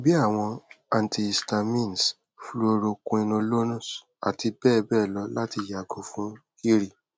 bii awọn antihistamines fluoroquinolones ati bẹbẹ lọ lati yago fun giri